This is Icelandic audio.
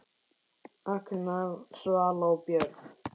Agnar, Svala og börn.